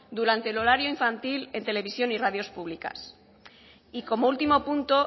durante el horario infantil en televisión y radios públicas y como último punto